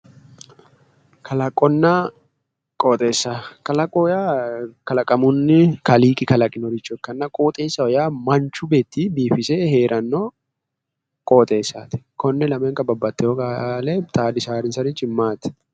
Kalaqonna qooxeesss kalaqo yaa kalaqamunni Kaaliiqi kalaqinoricho ikkanna qooxeessaho yaa manchi beeti biifise heeranno qooxeessaati. konne lamenka babbaxewo qaale xaadisaansarichi maati?